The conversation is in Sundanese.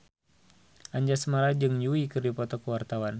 Anjasmara jeung Yui keur dipoto ku wartawan